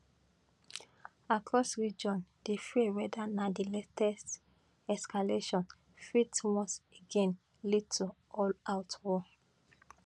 across region di fear whether na di latest escalation fit once again lead to allout war